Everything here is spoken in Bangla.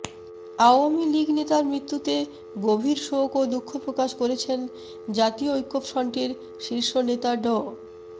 আওয়ামী লীগ নেতার মৃত্যুতে গভীর শোক ও দুঃখ প্রকাশ করেছেন জাতীয় ঐক্যফ্রন্টের শীর্ষ নেতা ড